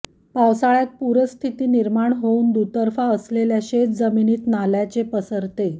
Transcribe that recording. पावसाळय़ात पूरस्थिती निर्माण होऊन दुतर्फा असलेल्या शेत जमिनीत नाल्याचे पसरते